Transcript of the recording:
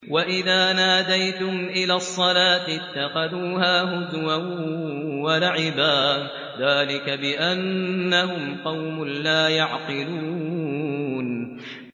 وَإِذَا نَادَيْتُمْ إِلَى الصَّلَاةِ اتَّخَذُوهَا هُزُوًا وَلَعِبًا ۚ ذَٰلِكَ بِأَنَّهُمْ قَوْمٌ لَّا يَعْقِلُونَ